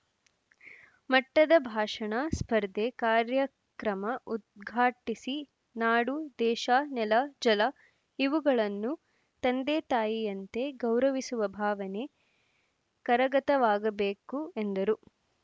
ಮಟ್ಟದ ಭಾಷಣ ಸ್ಪರ್ಧೆ ಕಾರ್ಯಕ್ರಮ ಉದ್ಘಾಟಿಸಿ ನಾಡು ದೇಶ ನೆಲ ಜಲ ಇವುಗಳನ್ನು ತಂದೆ ತಾಯಿಯಂತೆ ಗೌರವಿಸುವ ಭಾವನೆ ಕರಗತವಾಗಬೇಕು ಎಂದರು